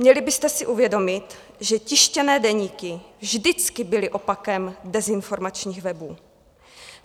Měli byste si uvědomit, že tištěné deníky vždycky byly opakem dezinformačních webů.